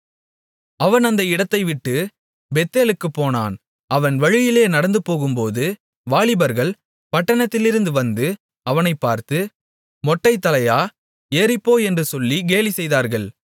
அவன் அந்த இடத்தைவிட்டுப் பெத்தேலுக்குப் போனான் அவன் வழியிலே நடந்துபோகும்போது வாலிபர்கள் பட்டணத்திலிருந்து வந்து அவனைப் பார்த்து மொட்டைத்தலையா ஏறிப்போ என்று சொல்லி கேலி செய்தார்கள்